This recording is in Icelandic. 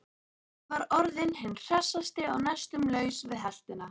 Hann var orðinn hinn hressasti og næstum laus við heltina.